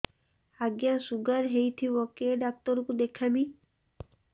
ଆଜ୍ଞା ଶୁଗାର ହେଇଥିବ କେ ଡାକ୍ତର କୁ ଦେଖାମି